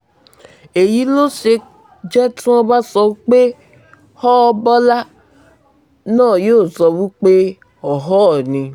èyí ló ṣe jẹ́ tí wọ́n bá sọ pé họ́ọ bọ́lá náà yóò sọ pé họ́ọ̀ ni